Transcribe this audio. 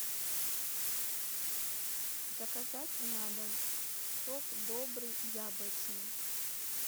заказать на дом сок добрый яблочный